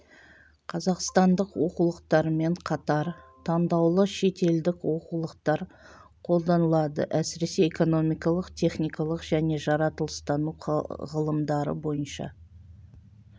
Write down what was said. қазақстандық оқулықтармен қатар таңдаулы шетелдік оқулықтар қолданылады әсіресе экономикалық техникалық және жаратылыстану ғылымдары бойынша